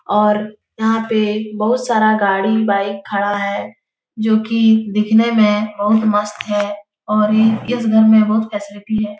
और यहाँ पे बहुत सारा गाड़ी बाइक खड़ा है जो की दिखने में बहुत मस्त है और ये इस घर में बहुत फैसिलिटी है ।